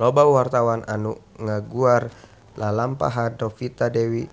Loba wartawan anu ngaguar lalampahan Novita Dewi